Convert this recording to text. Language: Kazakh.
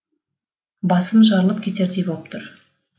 басым жарылып кетердей болып тұр